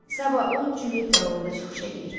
Sabah o Juyett rolunda çıxış eləyir.